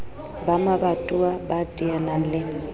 ba mabatowa ba teanang le